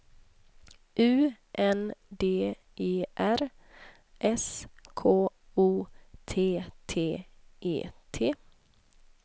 U N D E R S K O T T E T